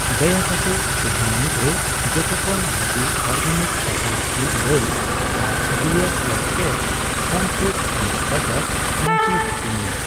ᱫᱟᱭᱟ ᱠᱟᱛᱮ ᱛᱤᱦᱤᱧ ᱢᱩᱫᱨᱮ ᱡᱚᱛᱚᱠᱷᱚᱱ ᱵᱷᱟᱜᱤ ᱚᱨᱜᱮᱱᱤᱠ ᱥᱟᱥᱟᱝ ᱢᱩᱠ ᱰᱟᱹᱞ ᱟᱨ ᱰᱤᱟᱨᱹ ᱳᱭᱮᱴᱠᱮᱨ ᱯᱷᱟᱱᱯᱷᱩᱰᱚᱥ ᱚᱤᱱᱟᱴ ᱵᱟᱨᱟᱴ ᱠᱨᱟᱧᱡᱤ ᱦᱟᱹᱴᱤᱧ ᱢᱮ ᱾